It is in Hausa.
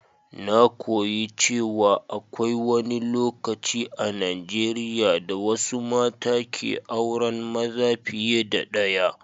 Na koyi cewa akwai wani lokaci a Najeriya da wasu mata ke auran maza fiye da ɗaya.